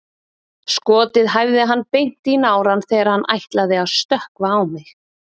Skotið hæfði hann beint í nárann þegar hann ætlaði að stökkva á mig.